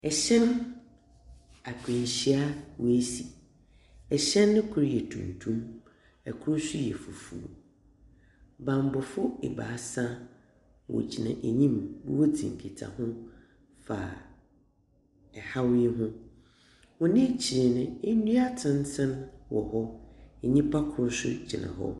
Hyɛn akwanhyia a asi. Hyɛn no kor yɛ tuntum, kor nso yɛ fufuw. Bambɔfoɔ ebaasa, wɔgyina enyim a woridzi nkitaho fa haw yi ho. Wɔn ekyir no, ndua atenten wɔ hɔ. Nyipa kor nso gyina hɔ.